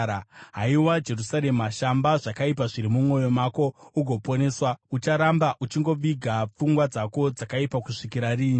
Haiwa Jerusarema, shamba zvakaipa zviri mumwoyo mako ugoponeswa. Ucharamba uchingoviga pfungwa dzako dzakaipa kusvikira riini?